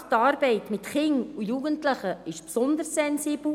Und gerade die Arbeit mit Kindern und Jugendlichen ist besonders sensibel.